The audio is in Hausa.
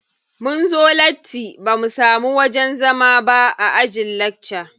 Munzo latti bamu samu wajen zama ba a ajin lakca.